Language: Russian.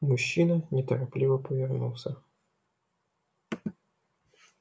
мужчина неторопливо повернулся